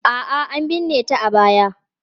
A'a, an binne ta a baya.